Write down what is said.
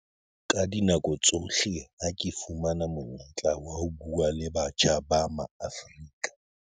Ka dinako tsohle ha ke fumana monyetla wa ho bua le batjha ba Maafrika